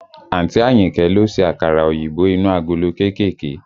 Àǹtí Àyìnkẹ́ ló ṣe àkàrà òyìnbó inú agolo kéékèèké